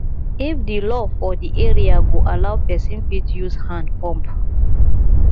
if di law for di area go allow person fit use hand pump